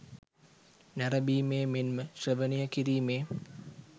නැරඹීමේ මෙන්ම ශ්‍රවණය කිරීමේ